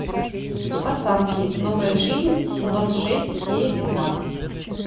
пацанки новая жизнь сезон шесть серия пятнадцать